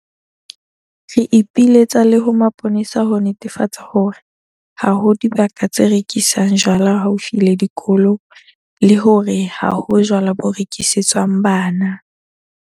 Re ipiletsa le ho mapolesa ho netefatsa hore ha ho dibaka tse rekisang jwala haufi le dikolo le hore ha ho jwala bo rekisetswang bana.